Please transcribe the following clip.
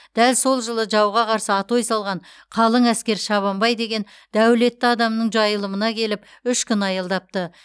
дәл сол жолы жауға қарсы атой салған қалың әскер шабанбай деген дәулетті адамның жайылымына келіп үш күн аялдапты